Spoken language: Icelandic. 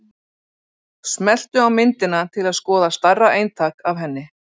Smelltu á myndina til að skoða stærra eintak af henni.